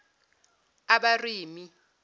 abarimi